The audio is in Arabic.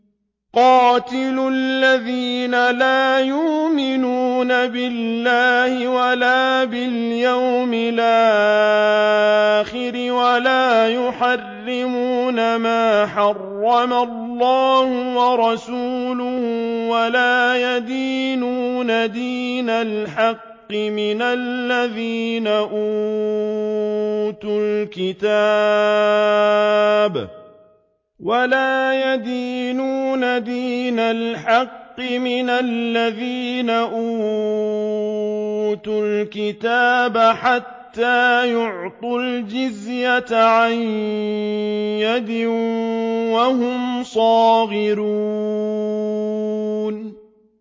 قَاتِلُوا الَّذِينَ لَا يُؤْمِنُونَ بِاللَّهِ وَلَا بِالْيَوْمِ الْآخِرِ وَلَا يُحَرِّمُونَ مَا حَرَّمَ اللَّهُ وَرَسُولُهُ وَلَا يَدِينُونَ دِينَ الْحَقِّ مِنَ الَّذِينَ أُوتُوا الْكِتَابَ حَتَّىٰ يُعْطُوا الْجِزْيَةَ عَن يَدٍ وَهُمْ صَاغِرُونَ